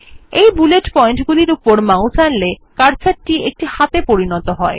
এই bullet point গুলির উপর মাউস আনলে কার্সর টি একটি হাতে পরিনত হয়